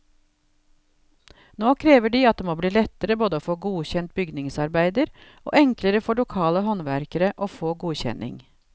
Nå krever de at det må bli lettere både å få godkjent bygningsarbeider og enklere for lokale håndverkere å få godkjenning.